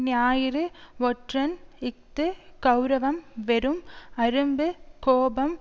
ஞாயிறு ஒற்றன் இஃது கெளரவம் வெறும் அரும்பு கோபம்